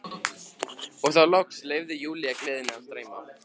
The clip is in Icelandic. Og þá loks leyfði Júlía gleðinni að streyma.